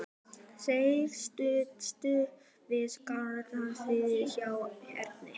Þeir stönsuðu við garðshliðið hjá Erni.